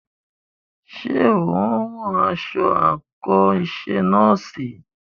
Ṣé o ń rán aṣọ àńkò iṣẹ nọ́ọ̀sì?